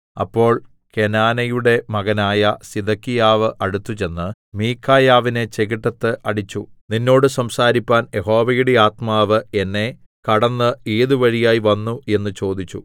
അപ്പോൾ കെനാനയുടെ മകനായ സിദെക്കീയാവ് അടുത്തുചെന്ന് മീഖായാവിനെ ചെകിട്ടത്ത് അടിച്ചു നിന്നോട് സംസാരിപ്പാൻ യഹോവയുടെ ആത്മാവ് എന്നെ കടന്ന് ഏതു വഴിയായി വന്നു എന്ന് ചോദിച്ചു